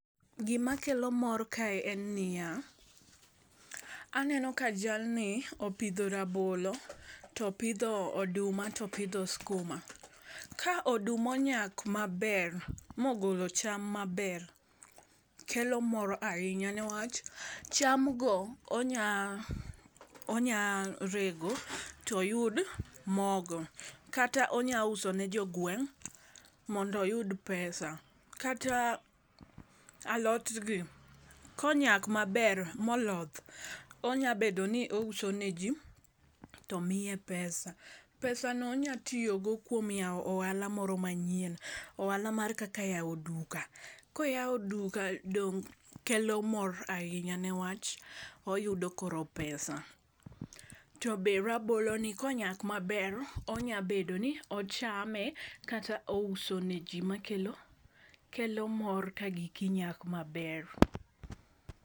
Gima kelo mor kae en niya, aneno ka jal ni opidho rabolo to pidho oduma, topidho skuma. Ka oduma onyak maber mogolo cham maber kelo mor ahinya newach cham go onya, onya rego toyud mogo kata onya uso ne jogweng' mondo oyud pesa kata, alot gii konyak maber moloth onya bedo ni ouso ne jii to miye pesa. Pesano onya tiyo go kuom yawo ohala moro manyien ohala moro kaka yawo duka koywao duka dong kelo mor ahinya niwach oyudo koro pesa . To be rabolo ni konyak maber onya bedo ni ochame kata ouse ne jii ma kelo, kelo mor ka giki nyak maber.